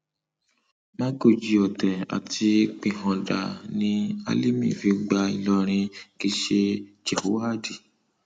mágọjí ọtẹ àti píháńdà ni àlímí fi gba ìlọrin kì í ṣe jèhóádì